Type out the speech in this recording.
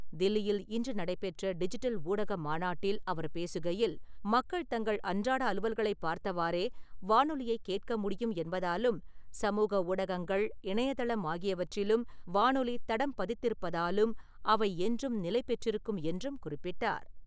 தில்லியில் இன்று நடைபெற்ற டிஜிட்டல் ஊடக மாநாட்டில் அவர் பேசுகையில், மக்கள் தங்கள் அன்றாட அலுவல்களைப் பார்த்தவாறே வானொலியைக் கேட்க முடியும் என்பதாலும், சமூக ஊடகங்கள், இணையதளம் ஆகியவற்றிலும் வானொலி தடம் பதித்திருப்பதாலும் அவை என்றும் நிலைபெற்றிருக்கும் என்றும் குறிப்பிட்டார்.